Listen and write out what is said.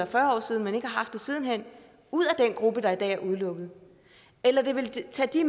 fyrre år siden men ikke har haft det siden hen ud af den gruppe der i dag er udelukket eller vi ville tage de